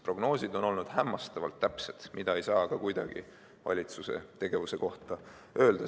Prognoosid on olnud hämmastavalt täpsed, mida ei saa kuidagi valitsuse tegevuse kohta öelda.